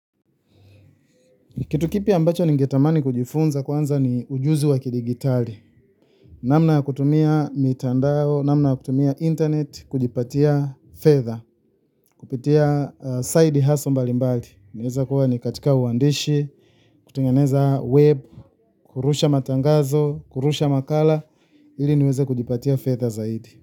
Kitu kipi ambacho ningetamani kujifunza kwanza ni ujuzi wa kidigitali. Namna ya kutumia mitandao namna ya kutumia internet kujipatia fedha kupitia side hustle mbali mbali. Naweza kuwa ni katika uandishi, kutengeneza web, kurusha matangazo, kurusha makala, ili niweze kujipatia fedha zaidi.